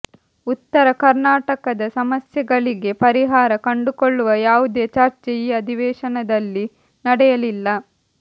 ಉತ್ತರ ಕರ್ನಾಟಕದ ಸಮಸ್ಯೆಗಳಿಗೆ ಪರಿಹಾರ ಕಂಡುಕೊಳ್ಳುವ ಯಾವುದೇ ಚರ್ಚೆ ಈ ಅಧಿವೇಶನದಲ್ಲಿ ನಡೆಯಲಿಲ್ಲ